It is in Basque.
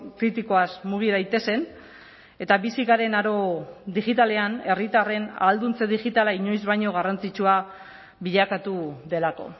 kritikoaz mugi daitezen eta bizi garen aro digitalean herritarren ahalduntze digitala inoiz baino garrantzitsua bilakatu delako